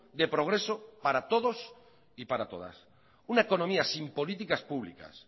de progreso para todos y para todas una economía sin políticas públicas